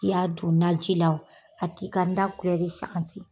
I y'a don naji la o, a t'i ka da kulɛri sanse.